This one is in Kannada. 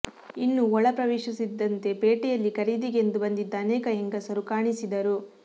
ಇನ್ನೂ ಒಳ ಪ್ರವೇಶಿಸುತ್ತಿದ್ದಂತೆ ಪೇಟೆಯಲ್ಲಿ ಖರೀದಿಗೆಂದು ಬಂದಿದ್ದ ಅನೇಕ ಹೆಂಗಸರು ಕಾಣಿಸಿದರು